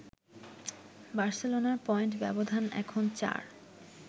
বার্সেলোনার পয়েন্ট ব্যবধান এখন ৪